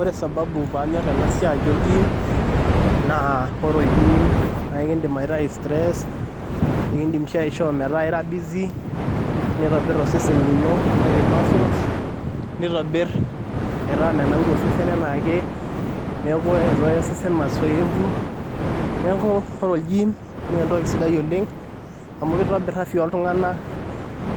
Ore sababu paanyirr ena siai olgym naa ore olgym naa kakiidim aitayu tress nikiindim sii aishoo metaa kaira busy, neitobirr osesen lino neyau muscles nitobirr metaa menauru osesen enaake, neeku eesita ake osesen masoesi, neeku ore olgym naa entoki sidai oleng' amu kitobirr afya oltung'anak,